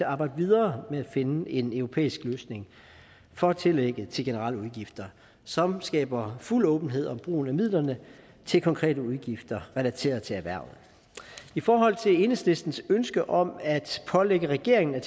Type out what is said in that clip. arbejde videre med at finde en europæisk løsning for tillægget til generelle udgifter som skaber fuld åbenhed om brugen af midlerne til konkrete udgifter relateret til erhvervet i forhold til enhedslistens ønske om at pålægge regeringen at